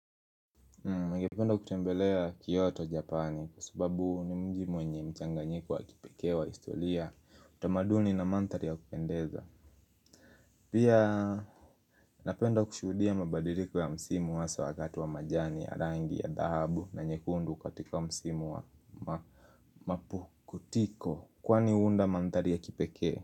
Ningependa kutembelea Kyoto Japani kwa sababu ni mji mwenye mchanganyiko wa kipekee wa historia utamaduni na mandhari ya kupendeza. Pia napenda kushuhudia mabadiliko ya msimu hasa wakati wa majani ya rangi ya dhahabu na nyekundu katika msimu wa mapukutiko kwani huunda mandhari ya kipekee.